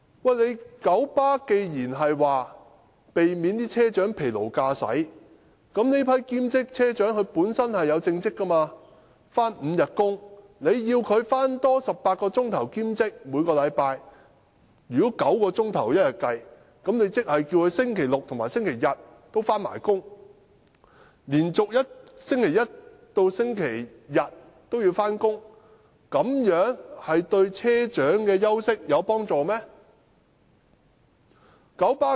九巴曾說要避免車長疲勞駕駛，但這批兼職車長本身已有正職，須每周工作5天，如要他們每星期多做18小時的兼職工作，以每天工作9小來計算，即要他們在星期六和星期日也要上班，這樣由星期一至星期日連續上班，有助車長休息嗎？